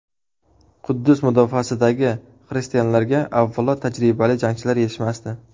Quddus mudofaasidagi xristianlarga, avvalo, tajribali jangchilar yetishmasdi.